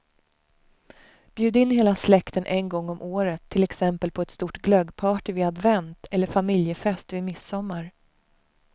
Bjud in hela släkten en gång om året, till exempel på stort glöggparty vid advent eller familjefest vid midsommar.